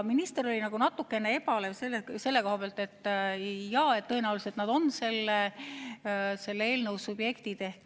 Minister oli natuke ebalev selle koha pealt, et jaa, tõenäoliselt nad on selle eelnõu subjektid.